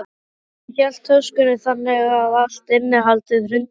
Hann hélt töskunni þannig að allt innihaldið hrundi á gólfið.